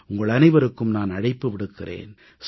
உங்கள் அனைவருக்கும் நான் அழைப்பு விடுக்கிறேன்